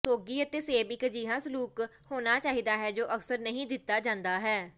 ਸੌਗੀ ਅਤੇ ਸੇਬ ਇੱਕ ਅਜਿਹਾ ਸਲੂਕ ਹੋਣਾ ਚਾਹੀਦਾ ਹੈ ਜੋ ਅਕਸਰ ਨਹੀਂ ਦਿੱਤਾ ਜਾਂਦਾ ਹੈ